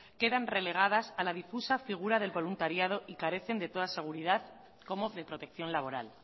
quedan relegadas a la difusa figura del voluntariado y carecen de toda seguridad como de protección laboral